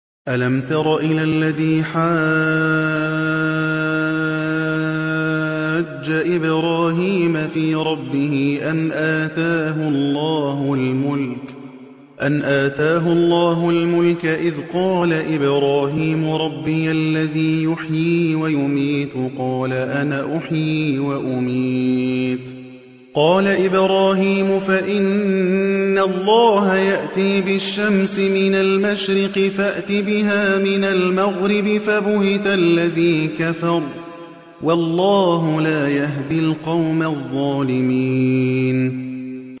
أَلَمْ تَرَ إِلَى الَّذِي حَاجَّ إِبْرَاهِيمَ فِي رَبِّهِ أَنْ آتَاهُ اللَّهُ الْمُلْكَ إِذْ قَالَ إِبْرَاهِيمُ رَبِّيَ الَّذِي يُحْيِي وَيُمِيتُ قَالَ أَنَا أُحْيِي وَأُمِيتُ ۖ قَالَ إِبْرَاهِيمُ فَإِنَّ اللَّهَ يَأْتِي بِالشَّمْسِ مِنَ الْمَشْرِقِ فَأْتِ بِهَا مِنَ الْمَغْرِبِ فَبُهِتَ الَّذِي كَفَرَ ۗ وَاللَّهُ لَا يَهْدِي الْقَوْمَ الظَّالِمِينَ